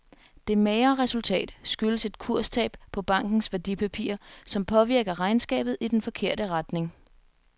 Det magre resultat skyldes et kurstab på bankens værdipapirer, som påvirker regnskabet i den forkerte retning.